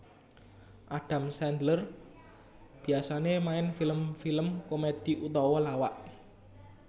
Adam Sandler biasané main film film komedi utawa lawak